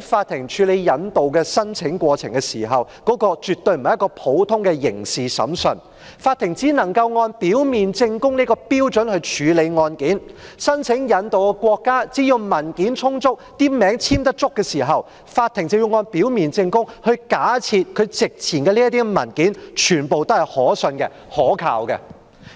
法庭處理引渡申請的過程絕非普通的刑事審訊，法庭只能按表面證供這個標準來處理案件，申請引渡的國家只要文件充足，有足夠簽名，法庭便要按表面證供，假設席前的相關文件全部均可信及可靠。